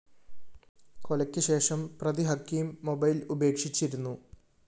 കൊലയ്ക്ക്‌ശേഷം പ്രതി ഖക്കീം മൊബൈൽ ഉപേക്ഷിച്ചിരുന്നു